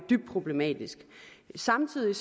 dybt problematisk samtidig